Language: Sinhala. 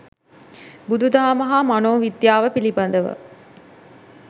බුදුදහම හා මනෝවිද්‍යාව පිළිබඳ